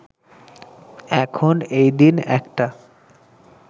এখন, এই দিন, একটা